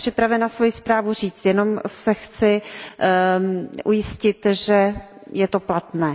Já jsem připravena svoji zprávu říct, jenom se chci ujistit, že je to platné.